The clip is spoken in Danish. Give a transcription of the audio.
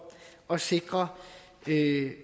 at sikre